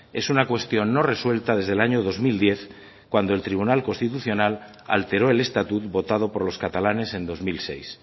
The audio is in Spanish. es una cuestión no resuelta desde el año dos mil diez cuando el tribunal constitucional alteró el estatut votado por los catalanes en dos mil seis